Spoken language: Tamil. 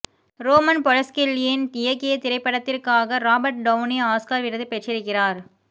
ரோமன் பொலன்ஸ்கில்யின் இயக்கிய இந்த திரைப்படத்திற்காக ராபர்ட் டௌனி ஆஸ்கார் விருது பெற்றிருக்கிறார்